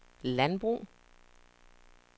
landbrug